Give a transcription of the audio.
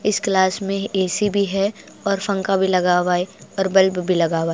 इस क्लास में ए_सी भी और फंखा भी लगा हुआ है और बल्ब भी लगा हुआ है।